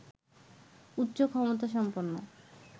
উচ্চ ক্ষমতা সম্পন্ন